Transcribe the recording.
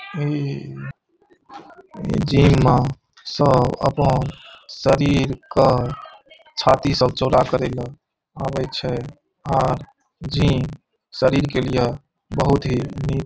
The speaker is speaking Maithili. इ जिम सब अपन शरीर के छाती सब चौड़ा करे ले आबे छै आर जिम शरीर के लिए बहुत ही निक --